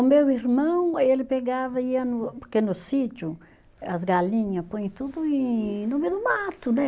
O meu irmão, ele pegava, ia no, porque no sítio, as galinha põem tudo em, no meio do mato, né?